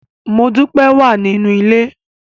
Modúpẹ́ wà nínú ilé.